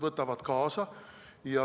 Võtavad kaasa.